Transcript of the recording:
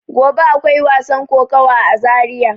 Gobe akwai wasan kokawa a zaria.